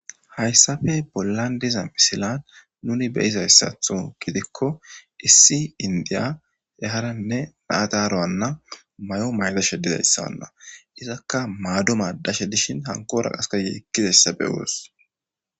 Hayssappe bollan diiza missilan nuni beizaysaththo giidiko issi inddiya yarane na7a daaro hana mayo mayzashshe diizayssana iizaka maado madashe dishshin hankkora qasse yekkizayssa beoos.